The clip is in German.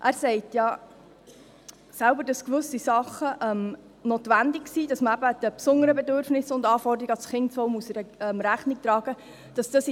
Er sagt ja selbst, dass gewisse Dinge notwendig seien, dass man eben den besonderen Anforderungen und Bedürfnissen Rechnung tragen müsse.